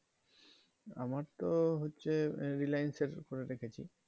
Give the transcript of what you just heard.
আমার তো হচ্ছে reliance এর উপরে দেখেছি